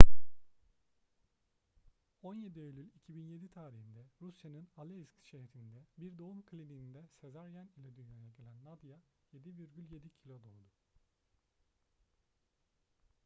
17 eylül 2007 tarihinde rusya'nın aleisk şehrindeki bir doğum kliniğinde sezaryen ile dünyaya gelen nadia 7,7 kilo doğdu